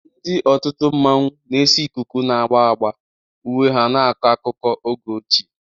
Ndị otu mmanwu na-ese ikuku na agba agba, uwe ha na-akọ akụkọ oge ochie.